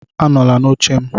Anọla n'oche m